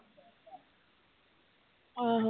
ਆਹੋ